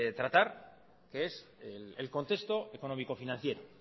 tratar que es el contexto económico financiero